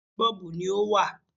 Oríṣiríṣi 'Bọ́ọ̀bù' ni ó wà